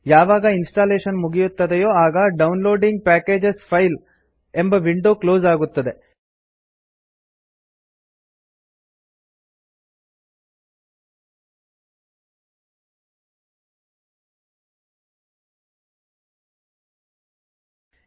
ಯಾವಾಗ ಇನ್ಸ್ಟಾಲೇಶನ್ ಮುಗಿಯುತ್ತದೆಯೋ ಆಗ downloading packages file downloading package files ಎಂಬ ವಿಂಡೋ ಕ್ಲೋಸ್ ಆಗುತ್ತದೆ